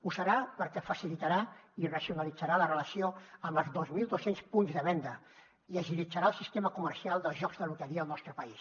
ho serà perquè facilitarà i racionalitzarà la relació amb els dos mil dos cents punts de venda i agilitzarà el sistema comercial de jocs de loteria al nostre país